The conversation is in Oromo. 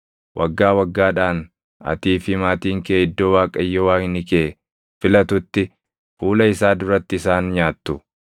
Waggaa waggaadhaan atii fi maatiin kee iddoo Waaqayyo Waaqni kee filatutti fuula isaa duratti isaan nyaattu.